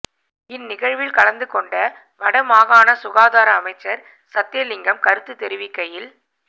இன் நிகழ்வில் கலந்து கொண்ட வடமாகாண சுகதார அமைச்சர் சத்தியலங்கம கருத்து தெரிவிக்கையில்